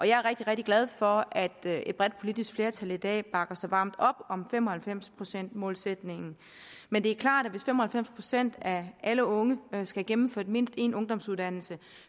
jeg er rigtig rigtig glad for at et bredt politisk flertal i dag bakker så varmt op om fem og halvfems procentsmålsætningen men det er klart at hvis fem og halvfems procent af alle unge skal have gennemført mindst én ungdomsuddannelse